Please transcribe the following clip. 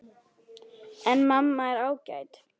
En mamma er ágæt.